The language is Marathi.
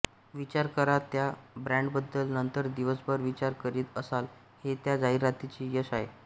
विचार करा त्या ब्रॅंडबद्दल नंतर दिवसभर विचार करीत असाल हे त्या जाहिरातीचे यश आहे